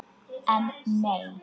En nei!